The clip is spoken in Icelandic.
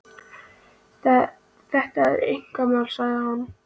Þetta er hans einkamál, sagði hann.